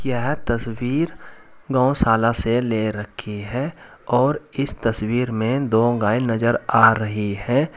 यह तस्वीर गौशाला से ले रखी है और इस तस्वीर में दो गाय नजर आ रही हैं।